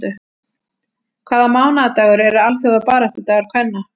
Hvaða mánaðardagur er alþjóðabaráttudagur kvenna?